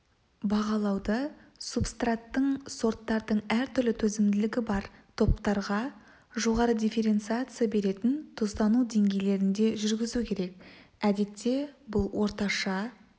бағалауды субстраттың сорттардың әртүрлі төзімділігі бар топтарға жоғары дифференциация беретін тұздану деңгейлерінде жүргізу керек әдетте бұл орташа